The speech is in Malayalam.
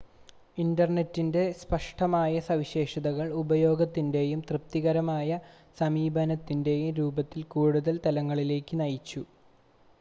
ഇൻ്റർനെറ്റിൻ്റെ സ്പഷ്ടമായ സവിശേഷതകൾ ഉപയോഗത്തിൻ്റെയും തൃപ്തികരമായ സമീപനത്തിൻ്റെയും രൂപത്തിൽ കൂടുതൽ തലങ്ങളിലേക്ക് നയിച്ചു